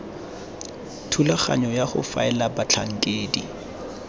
thulaganyo ya go faela batlhankedi